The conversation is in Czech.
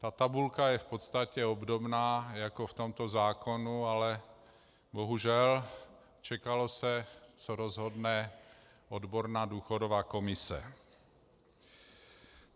Ta tabulka je v podstatě obdobná jako v tomto zákonu, ale bohužel, čekalo se, co rozhodne odborná důchodová komise.